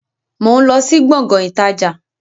Mo ń lọ sí Gbọ̀ngán ìtajà